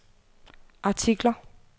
artikler